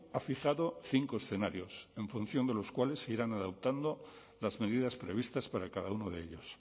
ha fijado cinco escenarios en función de los cuales se irán adoptando las medidas previstas para cada uno de ellos